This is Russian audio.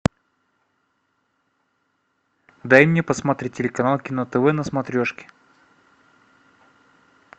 дай мне посмотреть телеканал кино тв на смотрешке